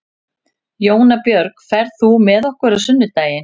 Jónbjörg, ferð þú með okkur á sunnudaginn?